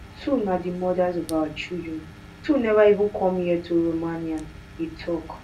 two na di mothers of our children two neva even come here to romania e tok